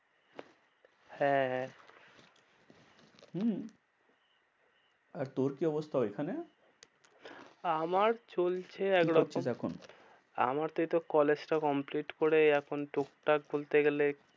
হ্যাঁ হ্যাঁ হম আর তোর কি অবস্থা ওইখানে? আমার চলছে একরকম। কি করছিস এখন? আমার তো এই তো কলেজ টা complete করে এখন টুকটাক বলতে গেলে